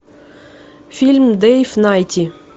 фильм дэйв найти